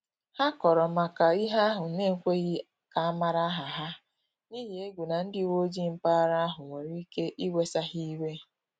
Ha kọrọ maka ihe ahụ n’ekweghi ka amala aha ha, n’ihi egwu na ndị uweojii mpaghara ahu nwere ike iwesa ha iwe